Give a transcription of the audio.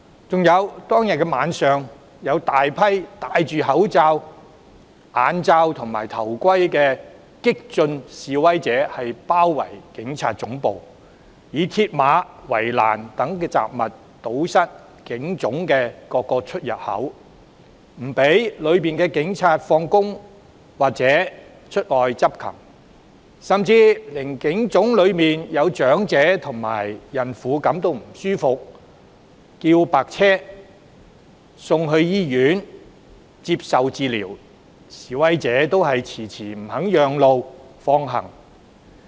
此外，當天晚上更有大批戴口罩、眼罩、頭盔的激進示威者包圍警察總部，以鐵馬、圍欄等雜物堵塞警總各個出入口，阻止大樓內的警員下班或出外執勤，甚至連警總內有長者及孕婦感到不適，希望召喚救護車送院接受治療，示威者也遲遲不肯讓路放行。